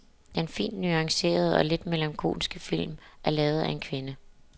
Den fint nuancerede og lidt melankolske film er lavet af en kvinde.